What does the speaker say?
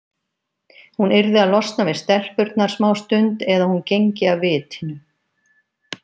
Hún yrði að losna við stelpurnar smástund eða hún gengi af vitinu.